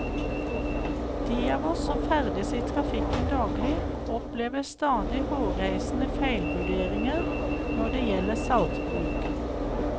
De av oss som ferdes i trafikken daglig, opplever stadig hårreisende feilvurderinger når det gjelder saltbruk.